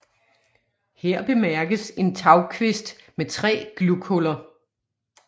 Her bemærkes en tagkvist med tre glughuller